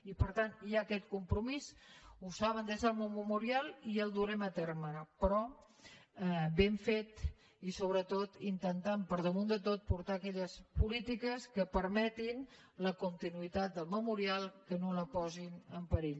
i per tant hi ha aquest compromís ho saben des del memorial i el durem a terme però ben fet i sobretot intentant per damunt de tot portar aquelles polítiques que permetin la continuïtat del memorial que no la posin en perill